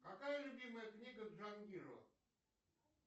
какая любимая книга джангирова